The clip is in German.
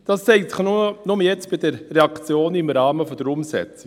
Das zeigt sich jetzt hier bei der Reaktion im Rahmen der Umsetzung.